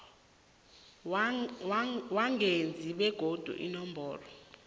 weengazi begodu inomboro